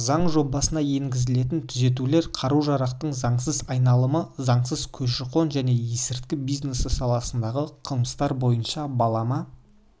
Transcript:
заң жобасына енгізілетін түзетулер қару-жарақтың заңсыз айналымы заңсыз көші-қон және есірткі бизнесі саласындағы қылмыстар бойынша балама